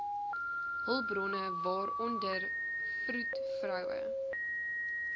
hulpbronne waaronder vroedvroue